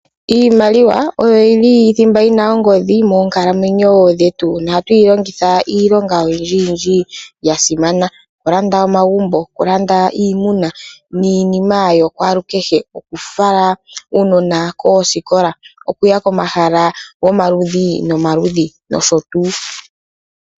Iimaliwa oyo yi li thimba yi n aongodhi moonkalamwenyo dhetu. Ohatu yi longitha iilonga oyindjiyindji ya simana. Okulanda omagumbo, okulanda iimuna niinima ya kwalukehe. Okufala uunona koosikola, okuya komahala gomaludhi nomaludho nosho tuu.